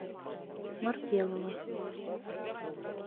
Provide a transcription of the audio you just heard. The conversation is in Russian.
маркелова